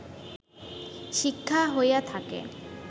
শিক্ষা হইয়া থাকে